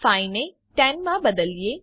5 ને 10 માં બદલીએ